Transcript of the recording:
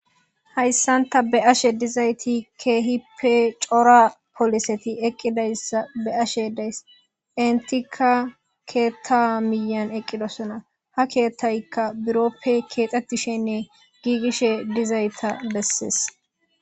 Hayssanta be ashe dizayti keehippe cora poliseti eqqidayssa be ashe deyss entika keetta miyan eqqidosona ha keethtaykka buroppe keexxettishenne giigishe dizayta bessees.